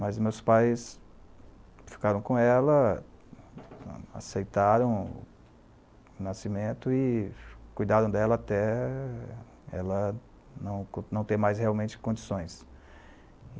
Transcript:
Mas meus pais ficaram com ela, aceitaram o nascimento e cuidaram dela até ela não não ter mais realmente condições.